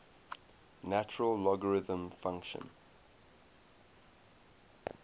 natural logarithm function